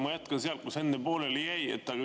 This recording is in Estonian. Ma jätkan sealt, kus enne pooleli jäi.